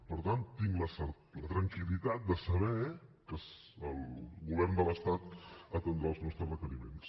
per tant tinc la tranquil·litat de saber que el govern de l’estat atendrà els nostres requeriments